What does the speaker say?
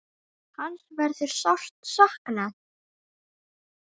Hans verður sárt saknað.